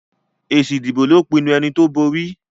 èsì ìbò ló pinnu ẹní tó bóri